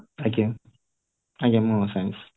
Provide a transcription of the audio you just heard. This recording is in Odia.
ଆଜ୍ଞା ମୁଁ science